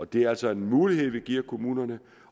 det er altså en mulighed vi giver kommunerne